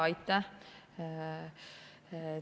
Aitäh!